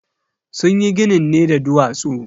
Sunyi ginin ne da duwatsu.